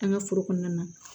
An ka foro kɔnɔna na